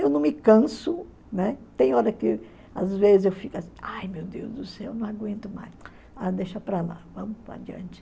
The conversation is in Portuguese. Eu não me canso, né, tem hora que às vezes eu fico ai meu Deus do céu, não aguento mais, mas deixa para lá, vamos para adiante.